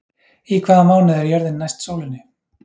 Í hvaða mánuði er jörðin næst sólinni?